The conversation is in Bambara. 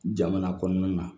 Jamana kɔnɔna na